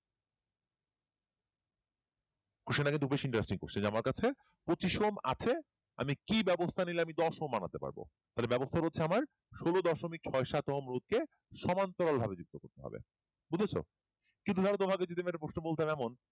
যে আমার কাছে পচিশ কম আছে আমি কি বাবস্তা নিলে আমি দশ ওহম বানাতে পারব তাহলে বাবস্তা হচ্ছে আমার ষোলো দশমিক ছয় সাত ওহমকে রোধকে সমান্তরাল ভাবে যুক্ত করতে হবে কিন্তু তোমাদের যদি এমন একটা প্রশ্ন বলতাম এমন